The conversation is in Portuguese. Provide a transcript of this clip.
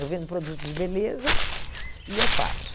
Eu vendo produtos de beleza e eu faço.